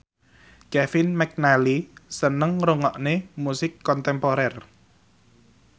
Kevin McNally seneng ngrungokne musik kontemporer